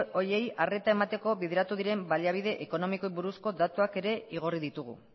horiei arreta emateko bideratu diren baliabide ekonomiko buruzko datuak ere igorri ditugu